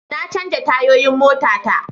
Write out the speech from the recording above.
Na canja tayoyin mota ta